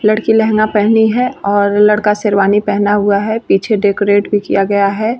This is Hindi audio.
यलड़की लहंगा पहनी है और लड़का शेरवाणी पहना हुआ है पीछे डेकोरेट भी किया हुआ है।